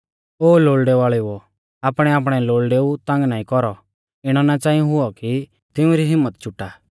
ओ लोल़डै वाल़ेऊ ओ आपणैआपणै लोल़डेऊ तंग नाईं कौरौ इणौ नाईं च़ांई हुऔ कि तिउंरी हिम्मत चुटा